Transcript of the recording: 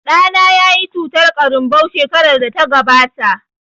Ɗana yayi cutar ƙarinbau shekarar da ta gabata